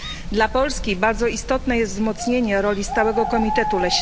Dla Polski bardzo istotne jest wzmocnienie roli Stałego Komitetu ds.